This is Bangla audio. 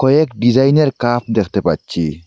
এক ডিজাইনের কাপ দেখতে পাচ্ছি।